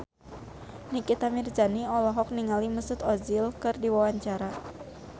Nikita Mirzani olohok ningali Mesut Ozil keur diwawancara